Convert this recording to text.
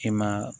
E ma